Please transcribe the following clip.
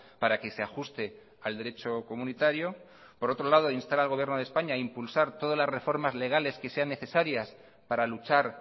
para que se ajuste al derecho comunitario por otro lado instar al gobierno de españa a impulsar todas las reformas legales que sean necesarias para luchar